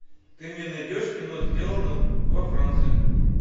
ты мне найдешь кино сделано во франции